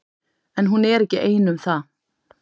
En hún er ekki ein um það.